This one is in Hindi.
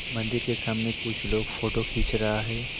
मंदिर के सामने कुछ लोग फोटो खींच रहा है।